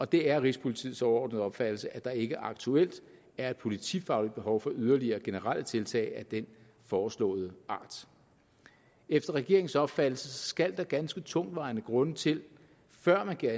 det er rigspolitiets overordnede opfattelse at der ikke aktuelt er et politifagligt behov for yderligere generelle tiltag af den foreslåede art efter regeringens opfattelse skal der ganske tungtvejende grunde til før man giver